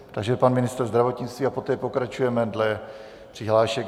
Takže pan ministr zdravotnictví a poté pokračujeme dle přihlášek.